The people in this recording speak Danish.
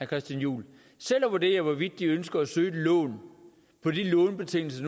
christian juhl selv at vurdere hvorvidt de ønsker at søge et lån på de lånebetingelser